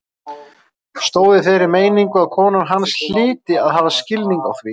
Stóð í þeirri meiningu að kona hans hlyti að hafa skilning á því.